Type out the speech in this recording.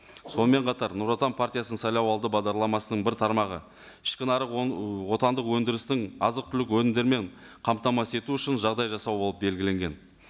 сонымен қатар нұр отан партиясының сайлауалды бағдарламасының бір тармағы ішкі нарық отандық өндірістің азық түлік өнімдерімен қамтамасыз ету үшін жағдай жасау болып белгіленген